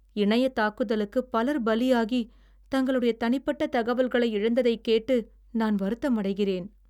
இணையத் தாக்குதலுக்குப் பலர் பலியாகி, தங்களுடைய தனிப்பட்ட தகவல்களை இழந்ததைக் கேட்டு நான் வருத்தமடைகிறேன்.